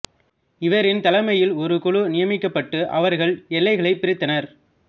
இவரின் தலைமையில் ஒரு குழு நியமிக்கப்பட்டு அவர்கள் எல்லைகளைப் பிரித்தனர்